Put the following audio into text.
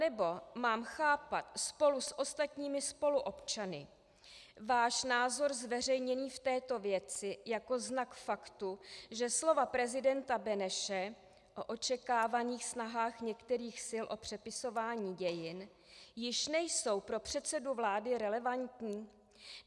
Anebo mám chápat spolu s ostatními spoluobčany váš názor zveřejněný v této věci jako znak faktu, že slova prezidenta Beneše o očekávaných snahách některých sil o přepisování dějin již nejsou pro předsedu vlády relevantní?